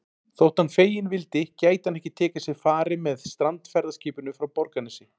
Þótt hann feginn vildi gæti hann ekki tekið sér fari með strandferðaskipinu frá Borgarnesi.